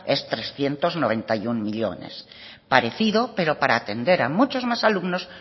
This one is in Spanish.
es trescientos noventa y uno millónes parecido pero para atender a muchos más alumnos